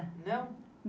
Não?